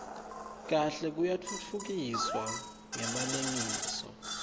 kahle yatfutfukiswa ngemalengiso